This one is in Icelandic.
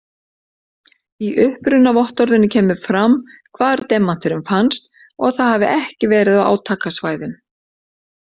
Í upprunavottorðinu kemur fram hvar demanturinn fannst og að það hafi ekki verið á átakasvæðum.